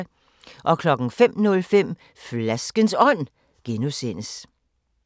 05:05: Flaskens Ånd (G)